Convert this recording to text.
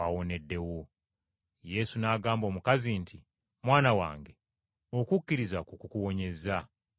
Yesu n’agamba omukazi nti, “Muwala wange, okukkiriza kwo kukuwonyezza. Genda mirembe.”